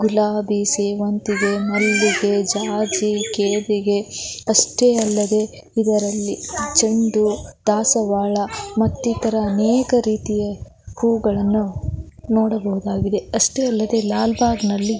ಗುಲಾಬಿ ಸೇವಂತಿಗೆ ಮಲ್ಲಿಗೆ ಜಾಜಿ ಕೇದಿಗೆ ಅಷ್ಟೆ ಅಲ್ಲದೆ ಇದರಲ್ಲಿ ಚೆಂಡು ದಾಸವಾಳ ಮತ್ತಿತರ ಅನೇಕ ರೀತಿಯ ಹೂವುಗಳನ್ನು ನೋಡಬಹುದಾಗಿದೆ ಅಷ್ಟೆ ಅಲ್ಲದೆ ಲಾಲಬಾಗ್ ನಲ್ಲಿ --